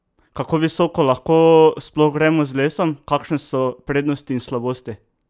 Kako visoko lahko sploh gremo z lesom, kakšne so prednosti in slabosti?